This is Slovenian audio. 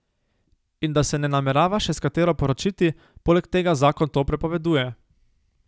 In da se ne namerava še s katero poročiti, poleg tega zakon to prepoveduje.